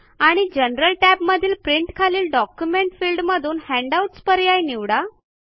आणि जनरल टॅबमधील प्रिंट खालील डॉक्युमेंट फिल्डमधून हँडआउट्स पर्याय निवडा